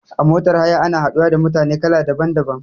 A motar haya ana haɗuwa da mutane kala daban daban